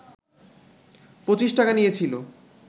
পঁচিশ টাকা নিয়েছিল